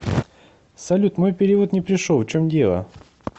салют мой перевод не пришел в чем дело